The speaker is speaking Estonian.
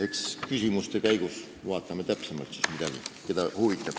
Eks küsimuste käigus vaatame täpsemalt, keda miski huvitab.